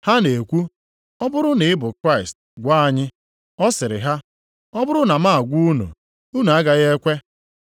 Ha na-ekwu, “Ọ bụrụ na ị bụ Kraịst, gwa anyị.” Ọ sịrị ha, “Ọ bụrụ na m agwa unu, unu agaghị ekwe.